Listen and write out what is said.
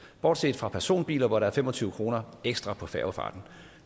bortset for personbiler hvor der er fem og tyve kroner ekstra for færgefarten